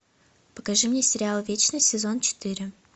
покажи мне сериал вечность сезон четыре